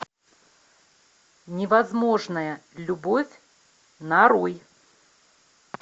невозможная любовь нарой